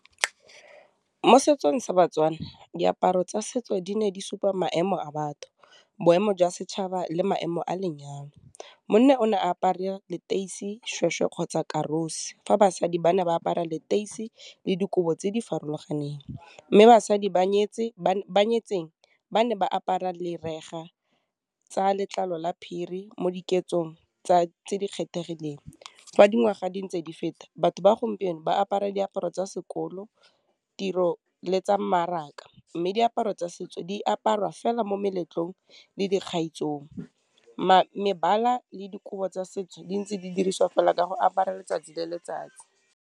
Mo setsong sa batswana diaparo tsa setso di ne di supa maemo a batho, boemo jwa setšhaba, le maemo a lenyalo. Monna o ne a apare leteisi, seshweshwe kgotsa karosi, fa basadi ba ne ba apara leteis, i le dikobo tse di farologaneng, mme basadi ba nyetseng ba ne ba apara tsa letlalo la phiri mo diketsong tse di kgethegileng, fa dingwaga di ntse di feta, batho ba gompieno ba apara diaparo tsa sekolo, tiro, le tsa mmaraka, mme diaparo tsa setso di aparwa fela mo meletlong le dikgaisanong, mebala le dikobo tsa setso di ntse di diriswa fela ka go apara letsatsi le letsatsi.